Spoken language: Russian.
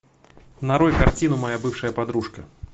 нарой картину моя бывшая подружка